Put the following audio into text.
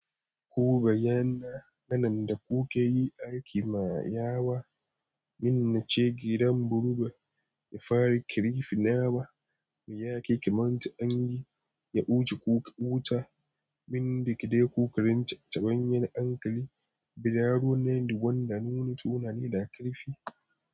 Ko bayyana nan da kukayi aiki ma ya wa, min nace gidan buruba ya fara kirifina ba, mu yake kimanta an yi, ya wuce kuka wuta, min da ki dai kukarin tabanyan ankali, biraro nan da wanda nuni tunani da karfi.